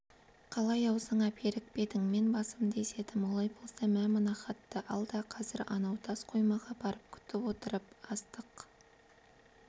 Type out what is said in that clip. қалай аузыңа берік пе едің мен басымды изедім олай болса мә мына хатты ал да қазір анау тас қоймаға барып күтіп отырып астық